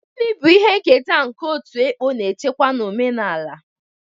Gini bu ihe nketa nke otu ekpo na-echekwa na omenala?